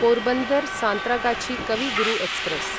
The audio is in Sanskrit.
पोरबन्दर् सान्त्रागाछी कवि गुरु एक्स्प्रेस्